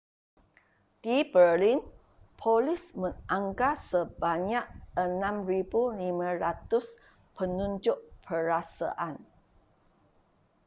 di berlin polis menganggar sebanyak 6,500 penunjuk perasaan